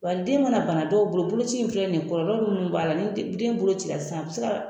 Wa den mana bana dɔw bolo , boloci in filɛ nin ye kɔlɔlɔ munnu b'a la ni den bolo ci la sisan a be se ka